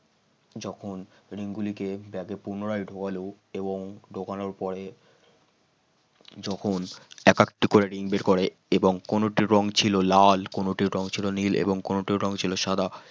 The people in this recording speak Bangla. যখন ring গুলিকে ব্যাগে পুনরায় ঢুকালো এবং ঢুকানোর পরে যখন একেকটি করে ring বের করে এবং কোনোটির রং ছিল লাল এবং কোনো রং ছিল এবং ছিল সাদা।